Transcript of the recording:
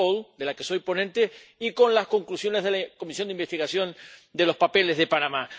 —de la que soy ponente—, y con las conclusiones de la comisión de investigación de los papeles de Panamá.